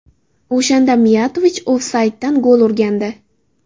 O‘shanda Miyatovich ofsayddan gol urgandi.